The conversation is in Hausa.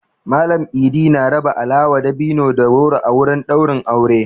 Mallam I'di na raba alawa, dabino da goro a wurin ɗaurin aure.